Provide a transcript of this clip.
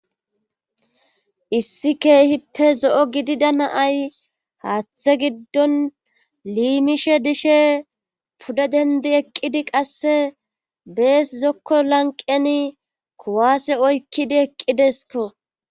Issi keehippe zo7o gidida naay haaththe giddon liimishe dishe pudde dendi eqqidi qasse bees zokko lanqeni kuwaase oykkidi eqqidesko.